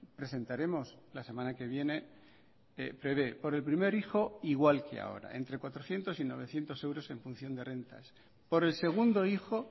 presentaremos la semana que viene prevé por el primer hijo igual que ahora entre cuatrocientos y novecientos euros en función de rentas por el segundo hijo